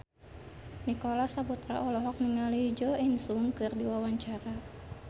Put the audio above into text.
Nicholas Saputra olohok ningali Jo In Sung keur diwawancara